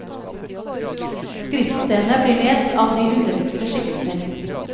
Skriftstedene blir lest av de underligste skikkelser.